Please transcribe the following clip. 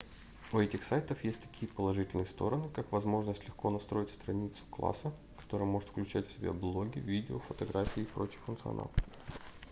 у этих сайтов есть такие положительные стороны как возможность легко настроить страницу класса которая может включать в себя блоги видео фотографии и прочий функционал